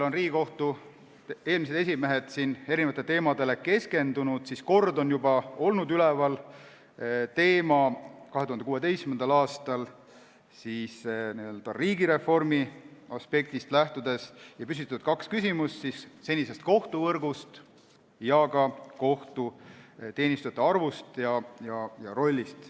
Riigikohtu eelmised esimehed on keskendunud erinevatele teemadele, kord, 2016. aastal, on juba olnud üleval teema n-ö riigireformi aspektist lähtudes ja küsiti kaks küsimust: senise kohtuvõrgu kohta ning ka kohtuteenistujate arvu ja rolli kohta.